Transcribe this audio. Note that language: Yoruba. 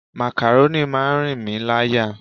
Makaroni máa ń rìn mí láyà.